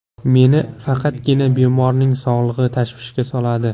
Meni faqatgina bemorning sog‘ligi tashvishga soladi.